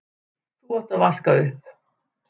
þú átt að vaska upp.